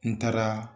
N taara